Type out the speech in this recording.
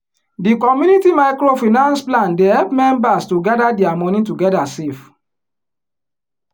di community microfinance plan dey help members to gather dia money together save.